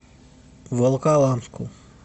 волоколамску